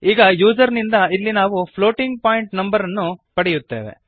ಈಗ ಯೂಸರ್ ನಿಂದ ಇಲ್ಲಿ ನಾವು ಫ್ಲೋಟಿಂಗ್ ಪಾಯಿಂಟ್ ನಂಬರ್ ಗಳನ್ನು ಪಡೆಯುತ್ತೇವೆ